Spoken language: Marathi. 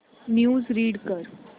न्यूज रीड कर